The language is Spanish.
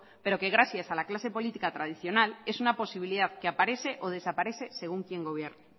pero que gracias a la clase política tradicional es una posibilidad que aparece o desaparece según quien gobierne